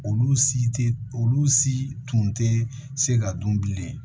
Olu si tɛ olu si tun tɛ se ka dun bilen